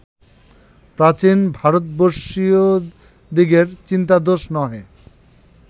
প্রাচীন ভারতবর্ষীয়দিগের চিন্তাদোষ নহে